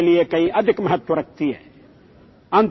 বন্ধুসকল অটলজীৰ এই শব্দবোৰে এতিয়াও আমাক দিশ দেখুৱায়